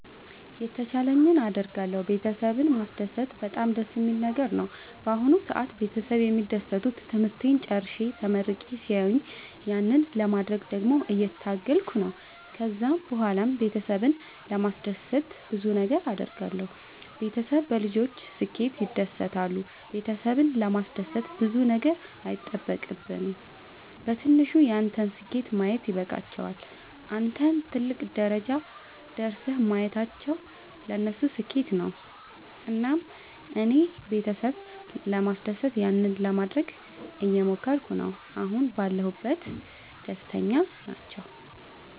የተቻለኝን አደርጋለሁ ቤተሰብን ማስደሰት በጣም ደስ የሚል ነገር ነው። በአሁን ሰአት ቤተሰብ የሚደሰቱት ትምህርቴን ጨርሼ ተመርቄ ሲያዩኝ ያንን ለማድረግ ደግሞ እየታገልኩ ነው። ከዛ ብኋላም ቤተሰብን ለማስደሰት ብዙ ነገር አድርጋለሁ። ቤተሰብ በልጆች ስኬት ይደሰታሉ ቤተሰብን ለማስደሰት ብዙ ነገር አይጠበቅም በትንሹ ያንተን ስኬት ማየት ይበቃቸዋል። አንተን ትልቅ ደረጃ ደርሰህ ማየታቸው ለነሱ ስኬት ነው። እና እኔም ቤተሰብ ለማስደሰት ያንን ለማደረግ እየሞከርኩ ነው አሁን ባለሁበት ደስተኛ ናቸው።